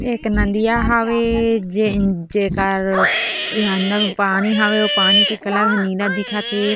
एक नालिया हवे जे जेकार अंदर में पानी हवे उह पानी का कलर नीला हे।